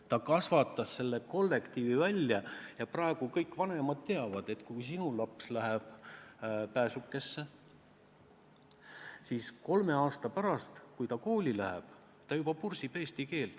Ta kasvatas selle kollektiivi välja ja praegu kõik vanemad teavad, et kui sinu laps läheb Pääsukesse, siis kolme aasta pärast, kui ta kooli läheb, ta juba pursib eesti keelt.